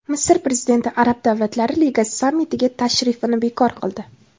Misr prezidenti Arab davlatlari ligasi sammitiga tashrifini bekor qildi.